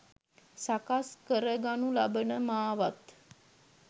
සකස් කරගනු ලබන මාවත්